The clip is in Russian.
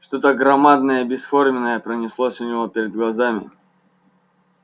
что-то громадное и бесформенное пронеслось у него перед глазами